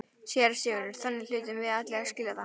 SÉRA SIGURÐUR: Þannig hlutum við allir að skilja það.